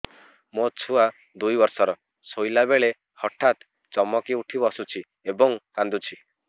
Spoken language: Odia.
ମୋ ଛୁଆ ଦୁଇ ବର୍ଷର ଶୋଇଲା ବେଳେ ହଠାତ୍ ଚମକି ଉଠି ବସୁଛି ଏବଂ କାଂଦୁଛି